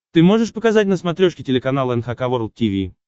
ты можешь показать на смотрешке телеканал эн эйч кей волд ти ви